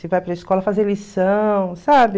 Se vai para a escola fazer lição, sabe?